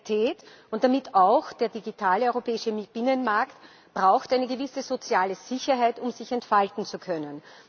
Kreativität und damit auch der digitale europäische Binnenmarkt braucht eine gewisse soziale Sicherheit, um sich entfalten zu können.